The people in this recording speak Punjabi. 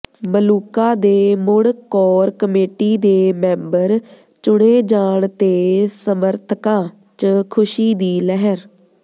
ਮਲੂਕਾ ਦੇ ਮੁੜ ਕੋਰ ਕਮੇਟੀ ਦੇ ਮੈਂਬਰ ਚੁਣੇ ਜਾਣ ਤੇ ਸਮੱਰਥਕਾਂ ਚ ਖੁਸ਼ੀ ਦੀ ਲਹਿਰ